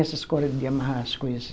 Essas corda de amarrar as coisas.